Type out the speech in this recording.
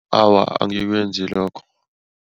Awa, angikwenzi lokho.